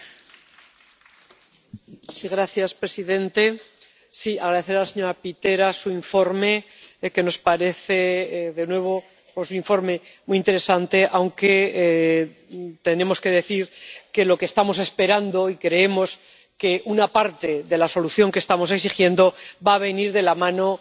Señor presidente. Deseo agradecer a la señora Pitera su informe, que nos parece, de nuevo, un informe muy interesante. Aunque tenemos que decir que lo que estamos esperando, y creemos que una parte de la solución que estamos exigiendo, va a venir de la mano de la Fiscalía Europea.